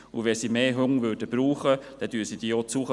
Würde sie mehr Hunde benötigen, würde sie diese anschaffen;